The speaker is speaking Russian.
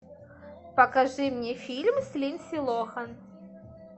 покажи мне фильм с линдси лохан